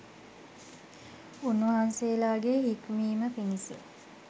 උන්වහන්සේලාගේ හික්මීම පිණිස